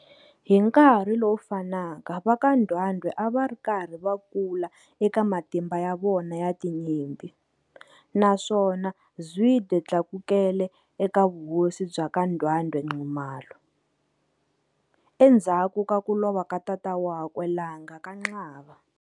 Hinkarhi lowufanaka vaka Ndwandwe ava rikarhi va kula eka matimba ya vona ya tinyimpi, naswona Zwide tlakukele eka vuhosi bya ka Ndwandwe-Nxumalo, endzhaku ka kulova ka tata wakwe Langa KaXaba.